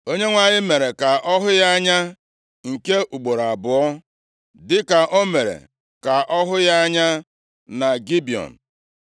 Onyenwe anyị mere ka ọ hụ ya anya nke ugboro abụọ dịka o mere ka ọ hụ ya anya na Gibiọn. + 9:2 \+xt 1Ez 3:5; 11:9; 2Ih 1:7\+xt*